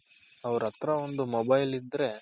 ಅವ್ರತ್ರ ಒಂದ್ mobile ಇದ್ರೆ